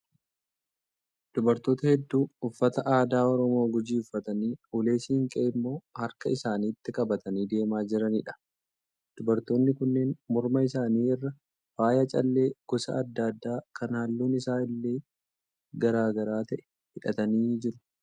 Dubartoota hedduu uffata aadaa Oromoo Gujii uffatanii ulee siinqee immoo harka isaaniitti qabatani deemaa jiraniidha. Dubartoonni kunneen morma isaanii irraa faaya callee gosa adda addaa kan halluun isaa illee garaa garaa ta'e hidhatanii jiru.